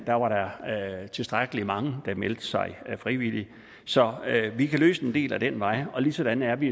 der var tilstrækkelig mange der meldte sig frivilligt så vi kan løse en del ad den vej og ligesådan er vi